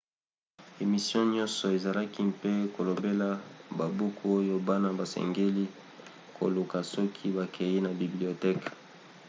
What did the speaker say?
emission nyonso ezalaki mpe kolobela babuku oyo bana basengeli koluka soki bakei na biblioteke